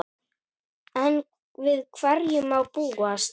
Enn við hverju má búast?